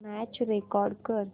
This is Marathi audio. मॅच रेकॉर्ड कर